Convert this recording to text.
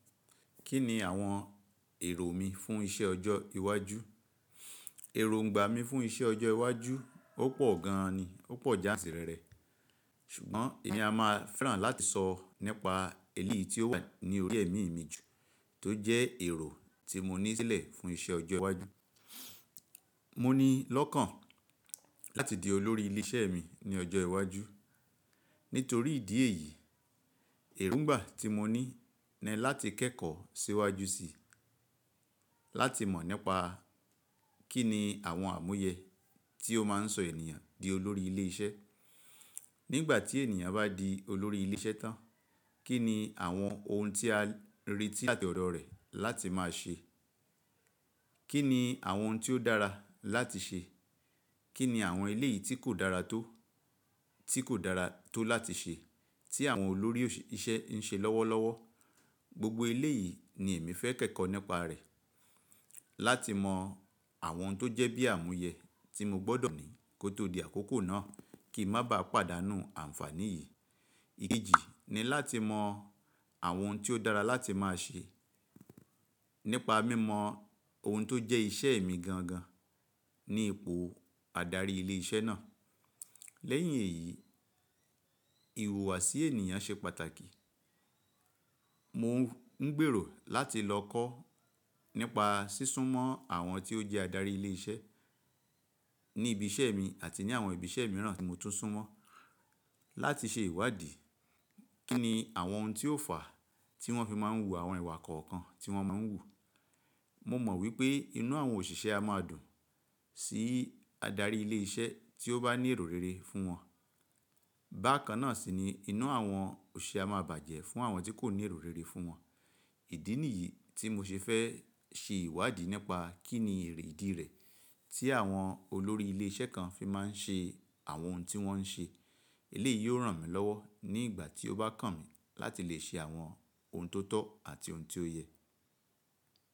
Kí ni àwọn èrò mi fún iṣẹ́ ọjọ́ iwájú? Ẹ̀rùǹgbà mi fún iṣẹ́ ọjọ́ iwájú ó pọ̀ gan an ni, ó pọ̀ jáàsì rere. Ṣùgbọ́n èeyan a máa fẹ́ràn láti sọ nípa eléyìí tí ó wà ní orí ẹ̀mí mi jù tó jẹ́ èrò tí mo ní sílẹ̀ fún iṣẹ́ ọjọ́ iwájú. Mo ní lọ́kàn láti di olórí ilé iṣẹ́ mi ní ọjọ́ iwájú. Nítorí ìdí èyí, èrùǹgbà tí mo ní ni láti kẹ́kọ̀ọ́ síwájú sí i, láti mọ̀ nípa kín ni àwọn àmúyẹ tí ó máa ń sọ ènìyàn di olórí ilé iṣẹ́. Nígbà tí ènìyàn bá di olórí ilé iṣẹ́ tán, kí ni àwọn ohun tí a retí láti ọ̀dọ̀ rẹ̀ láti máa ṣe? Kí ni àwọn ohun tí ó dára láti ṣe? Kí ni àwọn eléyìí tí kò dára tó? Tí kò dára tó láti ṣe tí àwọn olórí iṣẹ́ ń ṣe lọ́wọ́lọ́wọ́? Gbogbo eléyìí ni èmi fẹ́ kẹ́kọ̀ọ́ nípa rẹ̀, láti mọ àwọn tó jẹ́ bí àmúyẹ tí mo gbọ́dọ̀ ní kó tó di àkókò náà kí n má ba pàdánù àǹfàní yìí. Iyi ni láti mọ àwọn ohun tí ó dára láti máa ṣe nípa mímọ ohun tó jẹ́ iṣẹ́ mi gan gan ní ipò adarí ilé iṣẹ́ náà. Lẹ́yìn èyí, ìhùwàsí ènìyàn ṣe pàtàkì. Mo ń gbèrò láti lọ kọ́ nípa sísún mọ́ àwọn tí ó jẹ́ adarí ilé iṣẹ́, ní ibi iṣẹ́ mi àti ní àwọn ibi iṣẹ́ mìíràn tí mo tún sún mọ́ láti ṣe ìwádìí. Kí ni àwọn ohun tí ó fà á tí wọ́n fi máa ń hu àwọn ìwà kọ̀ọ̀kan tí wọ́n máa ń hù? Mo mọ̀ wípé inú àwọn òṣìṣẹ́ á máa dùn sí adarí ilé iṣẹ́ tí ó bá ní èrò rere fún wọn. Bákan náà sì ni inú àwọn òṣìṣẹ́ á máa bàjẹ́ fún àwọn tí kò ní èrò rere fún wọn. Ìdí nìyí tí mo ṣe fẹ́ ṣe ìwádìí nípa kín ni èrè ìdí rẹ̀ tí àwọn olórí ilé iṣẹ́ kan fi máa ń ṣe àwọn ohun tí wọ́n ń ṣe. Eléyìí yóò ràn mí lọ́wọ́ nígbà tí ó bá kàn mí láti lè ṣe àwọn ohun tó tọ́ àti ohun tí ó yẹ.